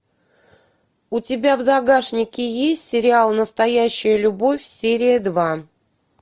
у тебя в загашнике есть сериал настоящая любовь серия два